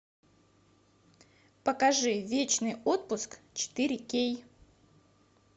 покажи вечный отпуск четыре кей